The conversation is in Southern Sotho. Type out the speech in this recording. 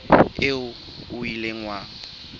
eo o ileng wa e